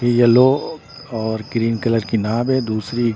ये यल्लो और green colour की नाब है दूसरी--